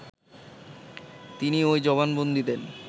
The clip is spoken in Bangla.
তিনি ওই জবানবন্দি দেন